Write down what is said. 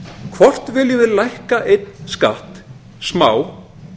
hvort viljum við lækka einn skatt smá